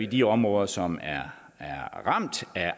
de områder som er ramt af